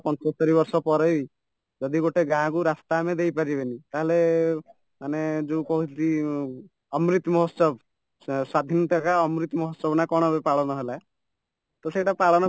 ପଞ୍ଚସ୍ତରୀ ବର୍ଷ ପରେବି ଯଦି ଗୋଟେ ଗାଁକୁ ରାସ୍ତା ଆମେ ଦେଇପାରିବନି ତାହାଲେ ମାନେ ଯୋଉ କହନ୍ତି ଅମୃତ ମହୋତ୍ସବ ସ୍ୱାଧୀନତା କା ମହୋତ୍ସବନା କ'ଣ ଏବେ ପାଳନ ହେଲା ତ ସେଟା ପାଳନ